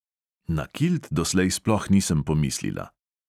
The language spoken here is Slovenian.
Na kilt dotlej sploh nisem pomislila.